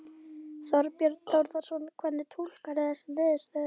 Þorbjörn Þórðarson: Hvernig túlkarðu þessar niðurstöður?